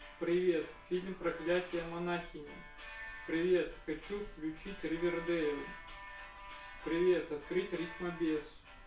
привет фильм проклятие монахини привет хочу включить ривердэйл привет открыть рифмабес